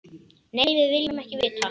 Nei, við viljum ekki vita.